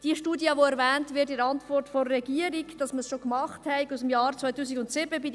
Die in der Antwort des Regierungsrates erwähnte Studie, wonach man es schon gemacht habe, stammt aus dem Jahr 2007.